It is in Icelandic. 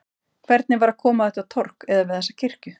Hvernig var að koma á þetta torg, eða við þessa kirkju?